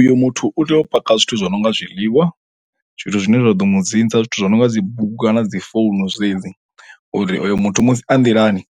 Uyo muthu u tea u paka zwithu zwo no nga zwiḽiwa zwithu zwine zwa ḓo mu dzinza zwithu zwi no nga dzi bugu kana dzi founu dzedzi uri uyo muthu musi a nḓilani